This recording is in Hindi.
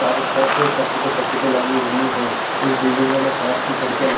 चारों तरफ सर्किट ही सर्किट लगी हुई है इस बिल्डिंगो में काँच की खिड़कियाँ लगी --